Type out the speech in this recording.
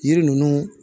Yiri ninnu